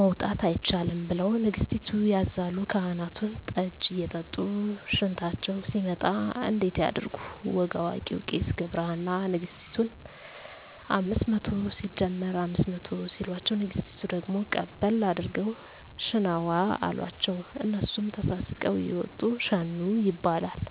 መውጣት አይቻልም ብለሁ ንገስቲቱ ያዛሉ ካህናቱን ጠጂ እየጠጡ ሽንታቸው ሲመጣ እንዴት ያድርጉ ወግ አዋቂው ቄስ ገብረሃና ነግስቲቱን አምስት መቶ ሲደመር አምስት መቶ ሲሎቸው ንግስቲቱ ደግሞ ቀበል አድርገው ሽነዋ አሎቸው እነሱም ተሳስቀው እየወጡ ሸኑ ይባላል